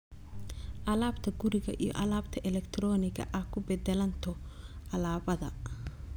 alaabta guriga iyo alaabta elektarooniga ah ku beddelanto alaabada